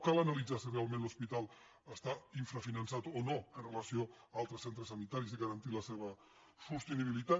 cal analitzar si realment l’hospital està infrafinançat o no amb relació a altres centres sani·taris i garantir la seva sostenibilitat